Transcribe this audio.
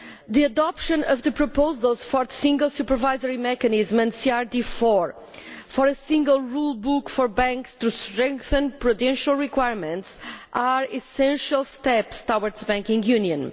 The adoption of the proposals for the single supervisory mechanism and CRD IV, for a single rule book for banks to strengthen prudential requirements, are essential steps towards banking union.